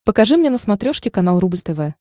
покажи мне на смотрешке канал рубль тв